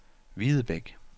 Videbæk